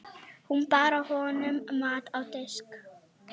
Hún bar honum mat á disk.